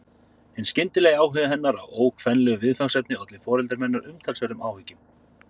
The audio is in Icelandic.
Hinn skyndilegi áhugi hennar á svo ókvenlegu viðfangsefni olli foreldrum hennar umtalsverðum áhyggjum.